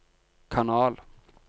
kanal